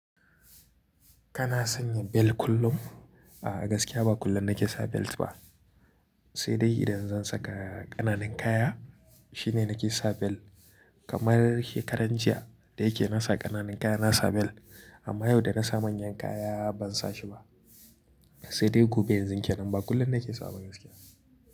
Kana sanya bel kullum? A'a gaskiya ba kullum nake sa belt ba, sai dai idan zan saka ƙananun kaya shine nake sa bel. Kamar shekaran jiya da yake na sa ƙananun kaya na sa bel amma yau da na sa manyan kaya ban sa shi ba. Sai dai gobe yanzun ke nan ba kullum nake sawa ba gaskiya.